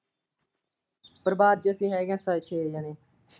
ਪਰਿਵਾਰ ਚ ਅਸੀਂ ਹੈਗੇ ਆ ਛ ਛੇ ਜਣੇ।